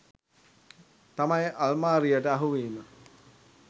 තමයි අල්මාරියට අහුවීම.